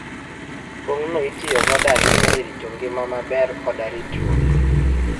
Pong'no itiyo godo ahinya e rito ngima maber koda ritruok.